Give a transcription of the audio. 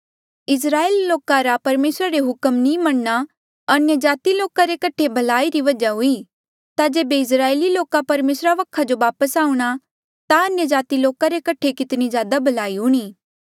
इस्राएल लोका रा परमेसरा रे हुक्म नी मनणा अन्यजाति लोका रे कठे भलाई री वजहा हुई ता जेबे इस्राएली लोका परमेसरा वखा जो वापस आऊंणा ता अन्यजाति लोका रे कठे कितनी ज्यादा भलाई हूणीं